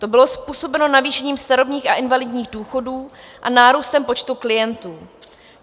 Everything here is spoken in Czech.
To bylo způsobeno navýšením starobních a invalidních důchodů a nárůstem počtu klientů.